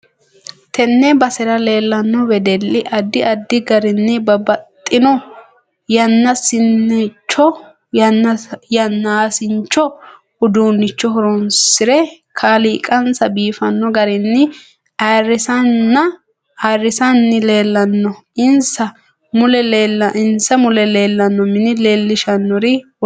Tenne basera leelanno wedelli addi addi garinni babbaxinno yanaasincho uduunicho horoonsire kaliiqansa biifanno garinni ayiirisanni leelanno insa mule leelanno mini leelishanori lowo geesha horo aanoho